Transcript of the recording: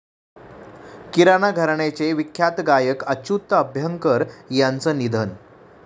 किराणा घराण्याचे विख्यात गायक अच्युत अभ्यंकर यांचं निधन